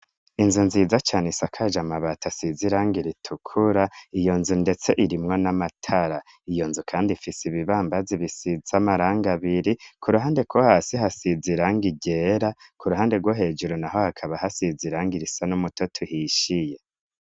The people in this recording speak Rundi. Inzu nziza cane isakaja amabati asiza iranga iritukura iyo nzu, ndetse irimwo n'amatara iyo nzu, kandi ifise ibibambazi bisiza amaranga biri ku ruhande kwo hasi hasiza iranga irera ku ruhande rwo hejuru na ho hakaba hasiza iranga irisa n'umutoto uhishiye.